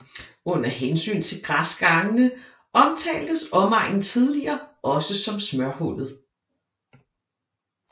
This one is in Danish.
Under hensyn til græsgangene omtaltes omegnen tidligere også som smørhullet